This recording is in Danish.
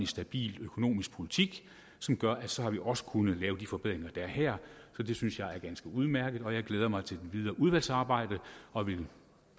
stabil økonomisk politik som gør at så har vi også kunnet lave de forbedringer der er her det synes jeg er ganske udmærket og jeg glæder mig til det videre udvalgsarbejde og vil